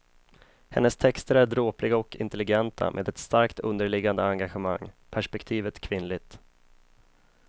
Hennes texter är dråpliga och intelligenta med ett starkt underliggande engagemang, perspektivet kvinnligt.